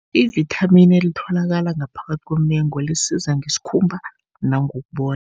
Ivithamini elitholakala ngaphakathi komengo, lisiza ngesikhumba nangokubona.